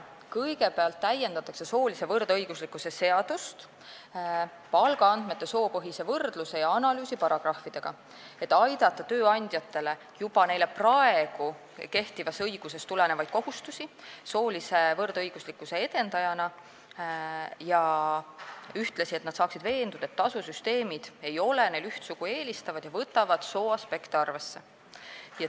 Kõigepealt täiendatakse soolise võrdõiguslikkuse seadust palgaandmete soopõhise võrdluse ja analüüsi paragrahvidega, et aidata tööandjatel täita juba praegu kehtivast õigusest tulenevaid kohustusi soolise võrdõiguslikkuse edendajana ning et nad saaksid ühtlasi veenduda, et tasusüsteemid ei ole neil üht sugu eelistavad ja võtavad sooaspekte arvesse.